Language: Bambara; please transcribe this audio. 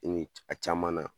a caman na.